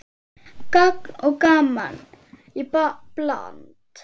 Gagn og gaman í bland.